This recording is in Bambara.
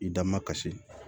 I da makasi